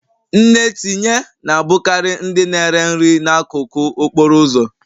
Nne tinye na-abụkarị ndị na-ere nri n'akụkụ okporo ụzọ